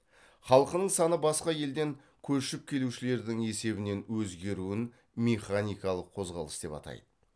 халқының саны басқа елден көшіп келушілердің есебінен өзгеруін механикалық қозғалыс деп атайды